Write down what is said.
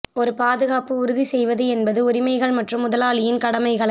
ஒரு பாதுகாப்பு உறுதி செய்வது என்பது உரிமைகள் மற்றும் முதலாளியின் கடமைகளை